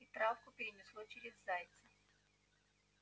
и травку перенесло через зайца